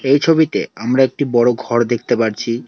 এই ছবিতে আমরা একটি বড়ো ঘর দেখতে পারছি।